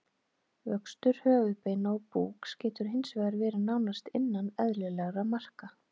Vöxtur höfuðbeina og búks getur hins vegar verið nánast innan eðlilegra marka.